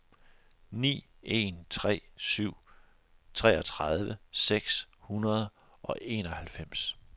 ni en tre syv treogtredive seks hundrede og enoghalvfems